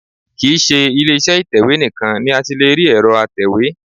Kì í ṣe ilé iṣẹ́ ìtẹ̀wé nìkan ni a ti lè rí ẹ̀rọ atẹ̀wé